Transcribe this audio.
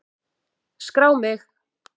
Skrá mig!